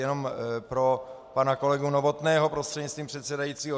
Jenom pro pana kolegu Novotného prostřednictvím předsedajícího.